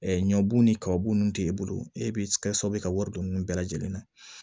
ɲɔbu ni kababun nunnu t'e bolo e bɛ kɛ sababu ye ka wari don mun bɛɛ lajɛlen na